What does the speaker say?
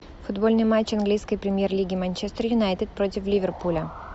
футбольный матч английской премьер лиги манчестер юнайтед против ливерпуля